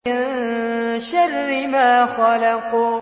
مِن شَرِّ مَا خَلَقَ